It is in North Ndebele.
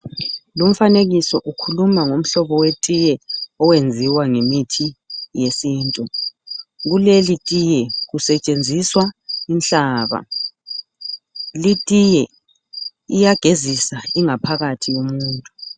Lumfanekiso ukhuluma ngomhlobo wetiye owenziwa ngemithi yesintu. Kuleli tiye kusetshenziswa inhlaba. Litiye iyagezisa ingaphakathi yomuntu.